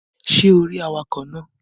Ṣé o rí awakọ̀ náà?